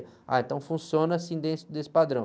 Ah, então funciona assim desse, desse padrão.